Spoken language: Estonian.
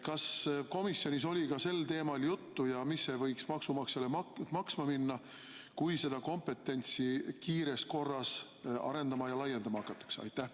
Kas komisjonis oli sellest juttu ja mis see võiks maksumaksjale maksma minna, kui seda kompetentsi kiires korras arendama ja laiendama hakatakse?